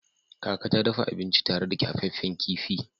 Kaka ta dafa abinci tare da kyafaffen kifi.